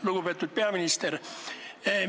Lugupeetud peaminister!